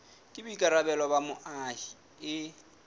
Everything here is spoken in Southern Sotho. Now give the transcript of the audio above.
ke boikarabelo ba moahi e